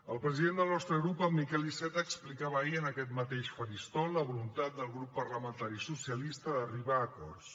el president del nostre grup en miquel iceta explicava ahir en aquest mateix faristol la voluntat del grup parlamentari socialista d’arribar acords